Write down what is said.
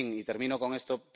En fin, y termino con esto.